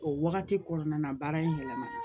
O wagati kɔnɔna na baara in yɛlɛmana